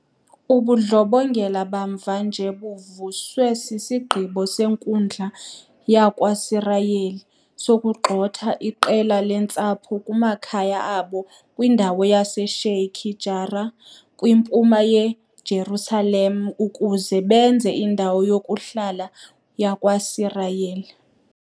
Ubundlobongela bamva nje buvuswe sisigqibo senkundla yakwaSirayeli sokugxotha iqela leentsapho kumakhaya abo kwindawo yase-Sheikh Jarrah kwiMpuma yeJerusalem ukuze benze indawo yokuhlala yakwaSirayeli.